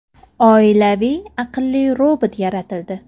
Oilaviy aqlli robot yaratildi.